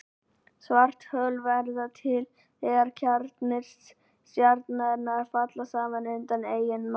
Svarthol verða til þegar kjarnar stjarnanna falla saman undan eigin massa.